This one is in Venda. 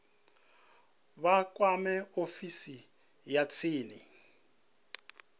vha kwame ofisi ya tsini